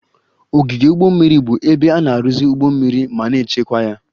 Ogige ụgbọ mmiri bụ ebe a na-arụzi ụgbọ mmiri ma na-echekwa ya